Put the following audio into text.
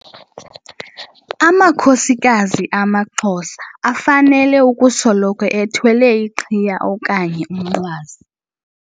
Amakhosikazi amaXhosa afanele ukusoloko ethwele iqhiya okanye umnqwazi.